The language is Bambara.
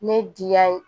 Ne diya ye